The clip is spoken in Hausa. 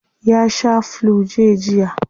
Ya shaa flu-j jiya.